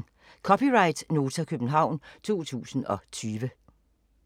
(c) Nota, København 2020